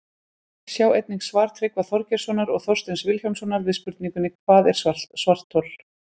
Sjá einnig svar Tryggva Þorgeirssonar og Þorsteins Vilhjálmssonar við spurningunni Hvað er svarthol?